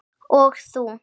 Og þú.